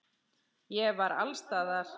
Ég var alls staðar.